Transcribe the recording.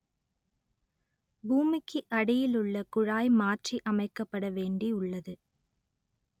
பூமிக்கு அடியில் உள்ள குழாய் மாற்றி அமைக்கப்பட வேண்டி உள்ளது